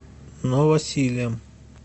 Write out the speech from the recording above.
новосилем